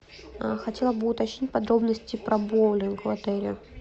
хотела бы уточнить подробности про боулинг в отеле